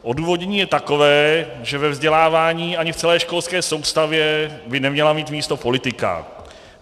Odůvodnění je takové, že ve vzdělávání ani v celé školské soustavě by neměla mít místo politika.